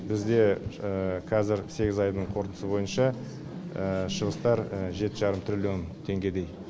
бізде қазір сегіз айдың қорытындысы бойынша шығыстар жеті жарым триллион теңгедей